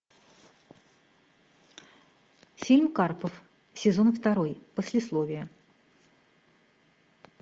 фильм карпов сезон второй послесловие